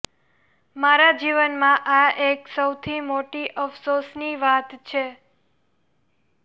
મારા જીવનમાં આ એક સૌથી મોટી અફસોસની વાત છે